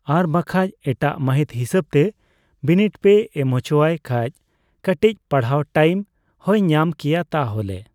ᱟᱨ ᱵᱟᱝᱠᱷᱟᱡ ᱮᱴᱟᱜ ᱢᱟᱦᱤᱛ ᱦᱤᱥᱟᱹᱵᱽ ᱛᱮ ᱵᱤᱱᱤᱴ ᱯᱮ ᱮᱢ ᱦᱚᱪᱚ ᱟᱭ ᱠᱷᱟᱡ ᱠᱟᱴᱤᱪ ᱯᱟᱲᱦᱟᱜ ᱴᱟᱭᱤᱢ ᱦᱚᱭ ᱧᱟᱢ ᱠᱮᱭᱟ ᱛᱟᱦᱞᱮ